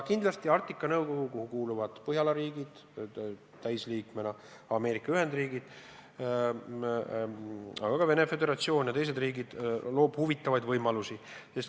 Kindlasti pakub Arktika Nõukogu, kuhu kuuluvad Põhjala riigid, täisliikmetena Ameerika Ühendriigid ja Venemaa Föderatsioon ja teised riigid, huvitavaid võimalusi.